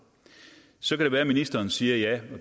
så kan det være at ministeren siger at ja